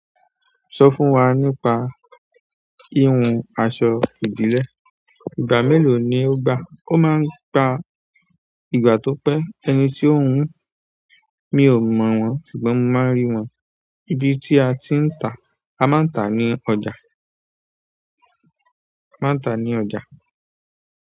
Sọ fún wa nípa hihùn aṣọ ìbílẹ̀. Ìgbà mélòó ni o gbà? Ó máa ń gba ìgbà tó pẹ́. Ẹni tí ó ń hun, mi ò mọ̀ wọ́n ṣùgbọ́n mo máa ń rí wọn. Ibi tí a ti ń tà, a máa ń tà á ní ọjà. A máa ń tà ní ọjà.